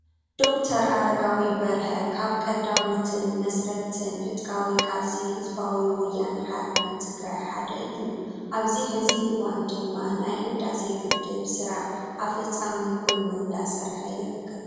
ዶ/ር ኣረጋዊ በርሀ ካብ ቀዳሞትን መስረቲትን ዕጥቃዊ ቃልሲ ህዝባዊ ወያነ ሓርነት ትግራይ ሓደ እዩ፡፡ ኣብዚ ሕዚ እዋን ድማ ናይ ህዳሴ ግድብ ስራሕ ኣፅፈፃሚ ኮይኑ እንዳሰርሐ ይርከብ፡፡